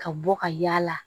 Ka bɔ ka yaala